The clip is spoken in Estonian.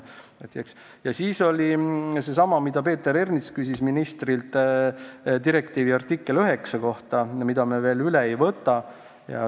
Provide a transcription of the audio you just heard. Kõne all oli see, mille kohta Peeter Ernits küsis siin ministrilt, direktiivi artikkel 9, mida me veel üle ei võta.